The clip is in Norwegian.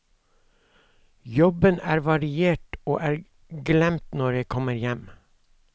Jobben er variert og er glemt når jeg kommer hjem.